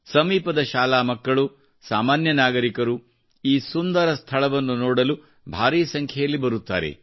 ಸಮೀಪದ ಶಾಲಾ ಮಕ್ಕಳು ಸಾಮಾನ್ಯ ನಾಗರಿಕರು ಈ ಸುಂದರ ಸ್ಥಳವನ್ನು ನೋಡಲು ಭಾರಿ ಸಂಖ್ಯೆಯಲ್ಲಿ ಬರುತ್ತಾರೆ